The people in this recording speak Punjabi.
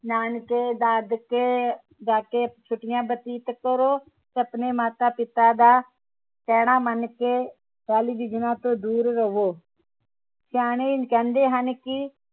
ਨਾਨਕੇ ਦਾਦਕੇ ਜਾਕੇ ਛੁੱਟੀਆਂ ਬਤੀਤ ਕਰੋ ਆਪਣੇ ਮਾਤਾ ਪਿਤਾ ਦਾ ਕਹਿਣਾ ਮਨ ਕੇ ਟੈਲੀਵਿਜ਼ਨਾਂ ਤੋਂ ਦੂਰ ਰਹੋ ਸਿਆਣੇ ਕਹਿੰਦੇ ਹਨ ਕਿ